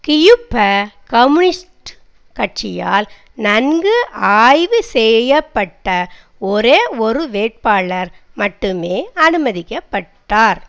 கியூப communist கட்சியால் நன்கு ஆய்வு செய்ய பட்ட ஒரே ஒரு வேட்பாளர் மட்டுமே அனுமதிக்க பட்டார்